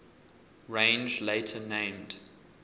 range later named